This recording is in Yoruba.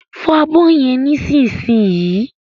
Fọ abọ́ yẹn nísinsìnyí